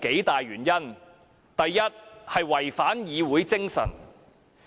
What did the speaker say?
第一，違反議會精神。